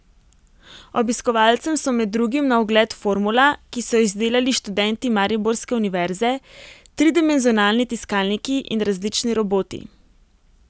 Obiskovalcem so med drugim na ogled formula, ki so jo izdelali študenti mariborske univerze, tridimenzionalni tiskalniki in različni roboti.